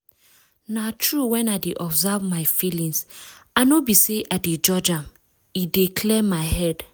na true wen i dey observe my feelings i no be say i de judge am e dey clear my head.